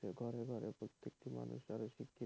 ঘরে ঘরে প্রত্যেকটি মানুষ আরও শিক্ষিত।